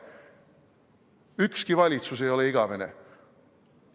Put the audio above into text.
Ükski valitsus ei ole igavene!